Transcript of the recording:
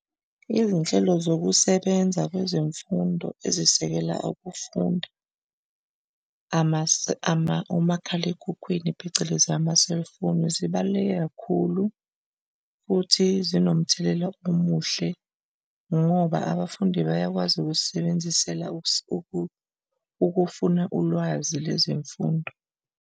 Izinhlelo zokusebenza kwezemfundo ezisekela ukufunda umakhalekhukhwini phecelezi ama-cellphone. Zibaluleke kakhulu futhi zinomthelela omuhle ngoba abafundi bayakwazi ukuzisebenzisela ukukufuna ulwazi lezemfundo.